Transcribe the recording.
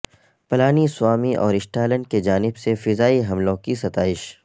پلانی سوامی اور اسٹالن کی جانب سے فضائی حملوں کی ستائش